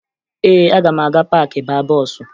Ee, aga m aga paakị baa bọọsụ